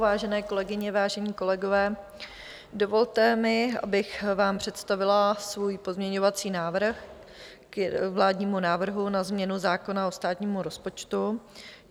Vážené kolegyně, vážení kolegové, dovolte mi, abych vám představila svůj pozměňovací návrh k vládnímu návrhu na změnu zákona o státním rozpočtu.